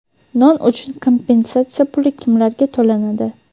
Non uchun kompensatsiya puli kimlarga to‘lanadi?.